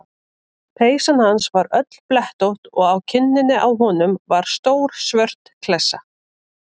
Peysan hans var öll blettótt og á kinninni á honum var stór svört klessa.